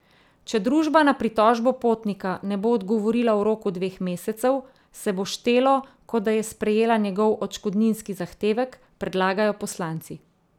Če družba na pritožbo potnika ne bo odgovorila v roku dveh mesecev, se bo štelo, kot da je sprejela njegov odškodninski zahtevek, predlagajo poslanci.